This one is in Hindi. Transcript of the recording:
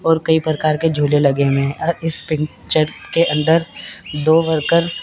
और कई प्रकार के झूले लगे हुए हैं इस पिक्चर के अंदर दो वर्कर --